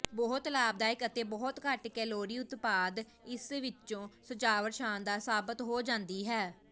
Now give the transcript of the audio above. ਬਹੁਤ ਲਾਭਦਾਇਕ ਅਤੇ ਬਹੁਤ ਘੱਟ ਕੈਲੋਰੀ ਉਤਪਾਦ ਇਸ ਵਿੱਚੋਂ ਸਜਾਵਟ ਸ਼ਾਨਦਾਰ ਸਾਬਤ ਹੋ ਜਾਂਦੀ ਹੈ